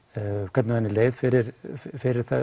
hvernig henni leið fyrir fyrir